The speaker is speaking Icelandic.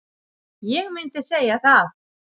Ég myndi segja það.